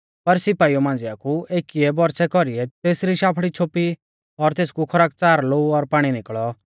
पर सिपाइऊ मांझ़िआ कु एकीऐ बरछ़ै कौरीऐ तेसरी शाफड़ी छोपी और तेसकु खरकच़ार लोऊ और पाणी निकल़ौ